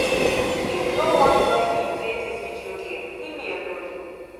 if you no wan join me play dis video game leave me alone